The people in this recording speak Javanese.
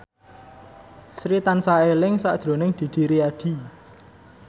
Sri tansah eling sakjroning Didi Riyadi